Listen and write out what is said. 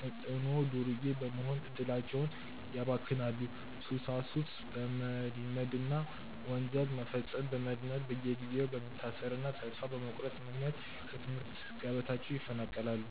ተጽዕኖ ዱርዬ በመሆን እድላቸውን ያባክናሉ፤ ሱሳሱስ በመልመድና ወንጀል መፈጸምን በመልመድ በየጊዜው በመታሰርና ተስፋ በመቁረጥ ምክንያት ከትምህርት ገበታቸው ይፈናቀላሉ።